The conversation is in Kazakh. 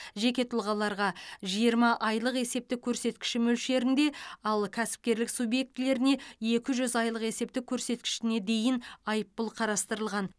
жеке тұлғаларға жиырма айлық есептік көрсеткіш мөлшерінде ал кәсіпкерлік субъектілеріне екі жүз айлық есептік көрсеткіш дейін айыппұл қарастырылған